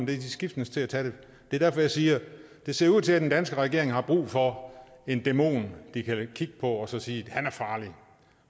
de skiftedes til at tage det det er derfor jeg siger at det ser ud til at den danske regering har brug for en dæmon de kan kigge på og så sige at han er farlig